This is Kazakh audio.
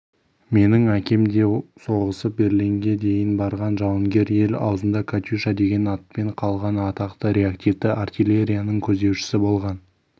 менің әкем де соғысып берлинге дейін барған жауынгер ел аузында катюша деген атпен қалған атақты реактивті артиллерияның көздеушісі болған